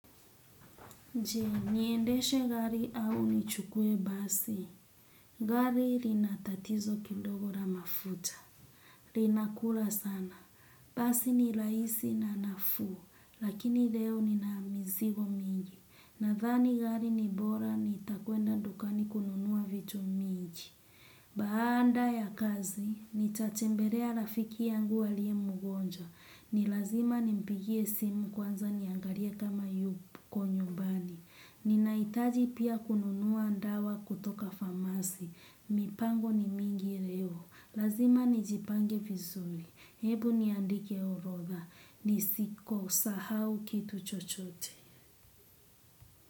Je, niendeshe gari au nichukue basi? Gari lina tatizo kidogo la mafuta. Linakula sana. Basi ni raisi na nafuu, lakini leo nina mizigo mingi. Nathani gari n ibora nitakwenda dukani kununuwa vitu mingi. Baanda ya kazi, nitatembelea rafiki yangu alie mgonjwa. Ni lazima nimpigie simu kwanza niangalie kama yupo nyubani. Ninaitaji pia kununua ndawa kutoka famasi. Mipango ni mingi leo. Lazima nijipange fizuli. Hebu niandike urodha. Nisiko sahau kitu chochote.